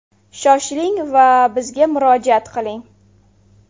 Shoshiling va bizga murojaat qiling!